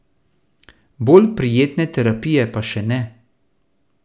Bolj prijetne terapije pa še ne.